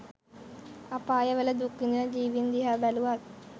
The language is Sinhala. අපායවල දුක් විඳින ජීවීන් දිහා බැලුවත්